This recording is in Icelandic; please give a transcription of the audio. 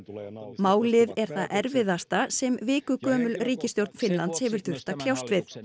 málið er það erfiðasta sem vikugömul ríkisstjórn Finnlands hefur þurft að kljást við